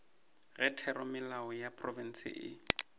ge theramelao ya profense e